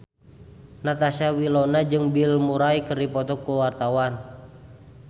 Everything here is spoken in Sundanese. Natasha Wilona jeung Bill Murray keur dipoto ku wartawan